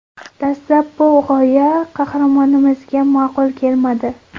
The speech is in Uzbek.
Dastlab bu g‘oya qahramonimizga ma’qul kelmadi.